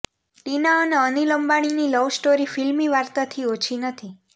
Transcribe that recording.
ટીના અને અનિલ અંબાણીની લવસ્ટોરી ફિલ્મી વાર્તાથી ઓછી નથી